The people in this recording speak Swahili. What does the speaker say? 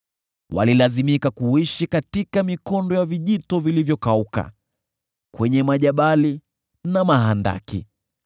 Walilazimika kuishi katika mikondo ya vijito vilivyokauka, kwenye majabali na mahandaki.